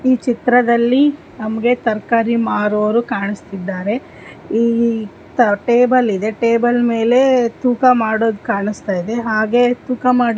ಈ ಚಿತ್ರದಲ್ಲಿ ನಮಗೆ ತರಕಾರಿ ಮಾರುವವರು ಕಾಣಿಸ್ತಾ ಇದ್ದಾರೆ ಈ ಇತ್ತ ಟೇಬಲ್ ಇದೆ ಟೇಬಲ್ ಮೇಲೆ ತೂಕ ಮಾಡೋದ್ ಕಾಣಿಸ್ತಾ ಇದೆ ಹಾಗೆ ತೂಕ ಮಾಡ್ --